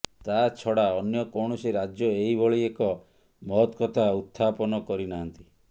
ତା ଛଡ଼ା ଅନ୍ୟ କୌଣସି ରାଜ୍ୟ ଏହି ଭଳି ଏକ ମହତ କଥା ଉତ୍ଥାପନ କରିନାହାନ୍ତି